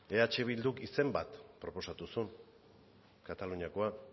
eh bilduk izen bat proposatu zuen kataluniakoa